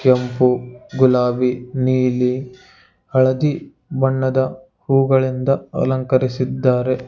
ಕೆಂಪು ಗುಲಾಬಿ ನೀಲಿ ಹಳದಿ ಬಣ್ಣದ ಹೂಗಳಿಂದ ಅಲಂಕರಿಸಿದ್ದಾರೆ.